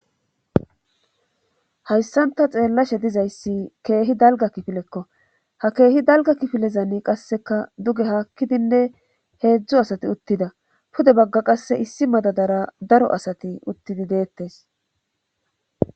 hayssanta xeellashe dizayssi keehi dalga kifilekko ha keehi dalga kifilezani qasseka duge haakkidinne heedzdzu asati uttida pude bagga qasse issi madadara daro asati uttidi deettes